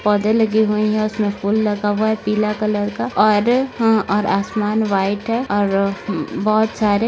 पौधे लगे हुए है उसमे फूल लगा हुआ है पीला कलर का और अ और आसमान व्हाइट है और अ बहुत सारे --